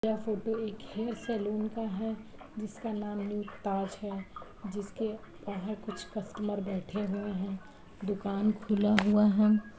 यह फोटो एक hair salon का है जिसका नाम न्यू ताज है। जिसके बाहर कुछ कस्टमर बैठे हुए हैं। दुकान खुला हुआ है।